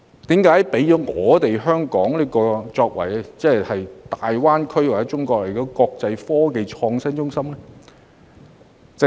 然而，為何要讓香港成為大灣區或全國的國際科技創新中心呢？